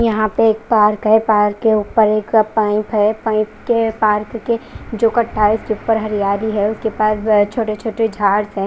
यहां पे एक पार्क है पार्क के ऊपर एक पाइप है पाइप के पार्क के जो कट्टा है उसके ऊपर हरियाली है छोटे छोटे झाड्स है।